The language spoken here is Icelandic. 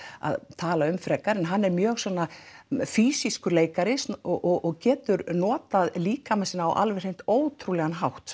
að tala um frekar en hann er mjög svona leikari og getur notað líkama sinn á alveg hreint ótrúlegan hátt